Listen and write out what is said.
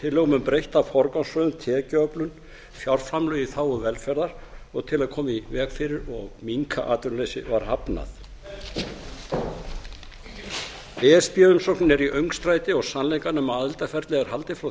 tillögum um breytta forgangsröðun tekjuöflun fjárframlög í þágu velferðar og til að koma í veg fyrir og minnka atvinnuleysi var hafnað e s b umsóknin er í öngstræti og sannleikanum um aðildarferlið er haldið frá